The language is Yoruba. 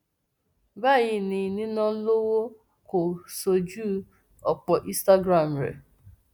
báyìí ni nína lowó kó o ṣojú ọpọ instagram rẹ